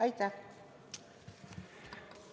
Aitäh!